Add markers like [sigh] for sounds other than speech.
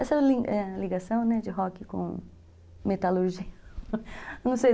Essa [unintelligible] ligação de rock com metalurgia [laughs]